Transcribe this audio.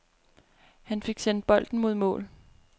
Han fik sendt bolden mod mål.